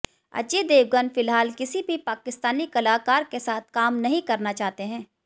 अजय देवगन फिलहाल किसी भी पाकिस्तानी कलाकार के साथ काम नहीं करना चाहते है